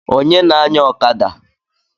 Onye na-anya ọkada?